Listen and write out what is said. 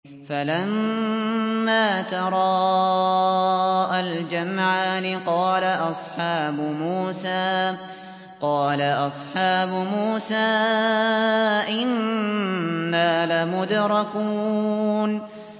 فَلَمَّا تَرَاءَى الْجَمْعَانِ قَالَ أَصْحَابُ مُوسَىٰ إِنَّا لَمُدْرَكُونَ